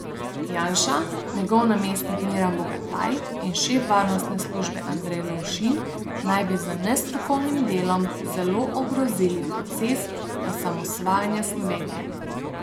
Janša, njegov namestnik Miran Bogataj in šef varnostne službe Andrej Lovšin naj bi z nestrokovnim delom zelo ogrozili proces osamosvajanja Slovenije.